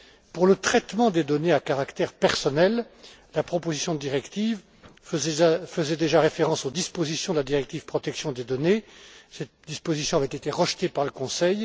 Pour le traitement des données à caractère personnel, la proposition de directive faisait déjà référence aux dispositions de la directive sur la protection des données. Cette disposition avait été rejetée par le Conseil.